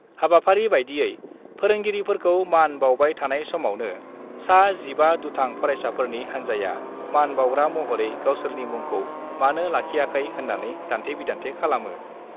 हाबाफारि बादियै फोरोंगिरिफोरखौ मान बाउबाय थानाय समावनो सा 15 दुथां फरायसाफोरनि हान्जाया मान बाउग्रा महरै गावसोरनि मुंखौ मानो लाखियाखै होन्नानै दान्थे-बिदान्थे खालामो।